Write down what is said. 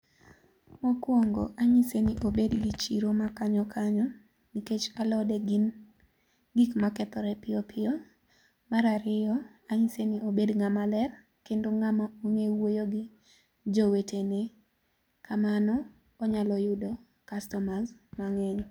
Mokuongo, ang'ise ni obed gi chiro ma kanyo kanyo nikech alode ggi gin gik ma kethore piyo piyo. Mar ariyo, ang'ise ni obedo ng'a ma ler kendo ng'a ma ong'eyo wuoyo gi jo wetene kamano onyalo yudo customers mang'eny.